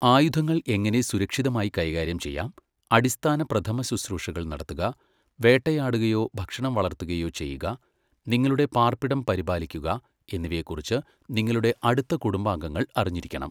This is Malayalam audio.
ആയുധങ്ങൾ എങ്ങനെ സുരക്ഷിതമായി കൈകാര്യം ചെയ്യാം, അടിസ്ഥാന പ്രഥമശുശ്രൂഷകൾ നടത്തുക, വേട്ടയാടുകയോ ഭക്ഷണം വളർത്തുകയോ ചെയ്യുക, നിങ്ങളുടെ പാർപ്പിടം പരിപാലിക്കുക എന്നിവയെക്കുറിച്ച് നിങ്ങളുടെ അടുത്ത കുടുംബാംഗങ്ങൾ അറിഞ്ഞിരിക്കണം.